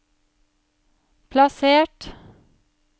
plassert